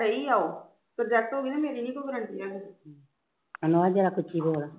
ਜਰਾ ਉਚੀ ਬੋਲ ਹੋ ਗਈ ਨਾ ਮੇਰੀ ਨੀ ਕੋਈ ਹੈਗੀ ਠੀਕ ਐ ਹਾਂ ਹਾਂ